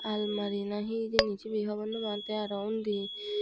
almari na he hijeni cibi hobor no pang te aro undi.